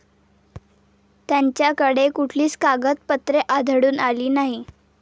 त्यांच्याकडे कुठलीच कागदपत्रे आढळून आली नाहीत.